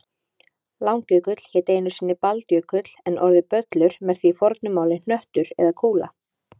Langjökull hét einu sinni Baldjökull en orðið böllur merkti í fornu máli hnöttur eða kúla.